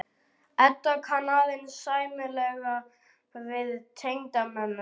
Edda kann aðeins sæmilega við tengdamömmu sína.